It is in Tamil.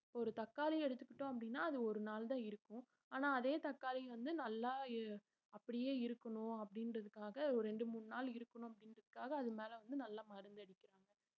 ஒரு தக்காளி எடுத்துக்கிட்டோம் அப்படின்னா அது ஒரு நாள் தான் இருக்கும் ஆனா அதே தக்காளி வந்து நல்லா இருக்~ அப்படியே இருக்கணும் அப்படின்றதுக்காக ஒரு ரெண்டு மூணு நாள் இருக்கணும் அப்படின்றதுக்காக அது மேல வந்து நல்ல மருந்து அடிக்கிறாங்க